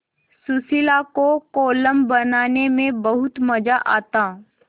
सुशीला को कोलम बनाने में बहुत मज़ा आता